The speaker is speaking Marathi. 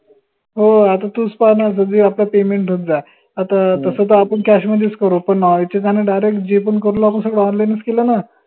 हो आता तूच पाहान कधी आपला payment होऊन जाये आता तस त आपन cash मधेच करो पन माहिती झाल्या direct जे पन करून आपन सर्व online च केलं ना